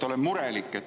Olen murelik.